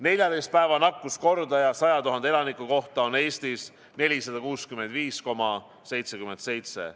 14 päeva nakkuskordaja 100 000 elaniku kohta on Eestis 465,77.